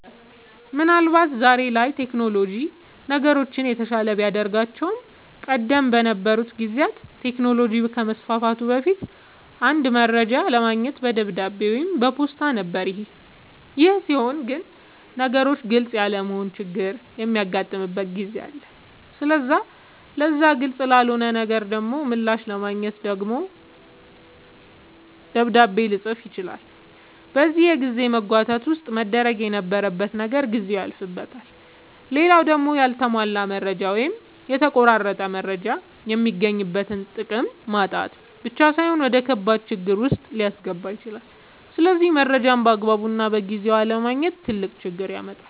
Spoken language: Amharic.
አወ ምን አልባት ዛሬ ላይ ቴክኖሎጅ ነገሮችን የተሻለ ቢያደርጋቸውም ቀደም በነበሩ ጊዜያት ቴክኖሎጅ ከመስፋፋቱ በፊት አንድ መረጃ ለማግኘት በደብዳቤ ወይም በፖስታ ነበር ይሄ ሲሆን ግን ነገሮች ግልፅ ያለመሆን ችግርም የሚያጋጥምበት ጊዜ አለ ስለዚህ ለዛ ግልፅ ላልሆነለት ነገር ደሞ ምላሽ ለማግኘት ደግሞ ደብዳቤ ልፅፍ ይችላል በዚህ የጊዜ መጓተት ውስጥ መደረግ የነበረበት ነገር ጊዜው ያልፍበታል። ሌላው ደሞ ያልተሟላ መረጃ ወይም የተቆረጠ መረጃ የሚገኝበትን ጥቅም ማጣት ብቻ ሳይሆን ወደከባድ ችግር ዉስጥ ሊያስገባ ይችላል ስለዚህ መረጃን ባግባቡና በጊዜው አለማግኘት ትልቅ ችግር ያመጣል